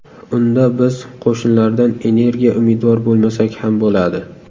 Unda biz qo‘shnilardan energiya umidvor bo‘lmasak ham bo‘ladi.